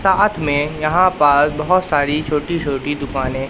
साथ में यहां पास बहोत सारी छोटी छोटी दुकानें--